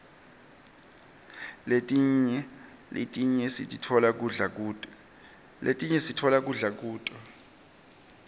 letinye sitfola kudla kuto